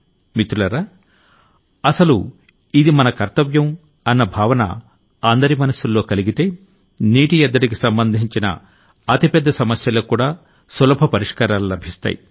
మిత్రులారా అసలు ఇది మన కర్తవ్యం అన్న భావన అందరి మనసుల్లో కలిగితే నీటి ఎద్దడికి సంబంధించిన అతి పెద్ద సమస్యలకు కూడా సులభ పరిష్కారాలు లభిస్తాయి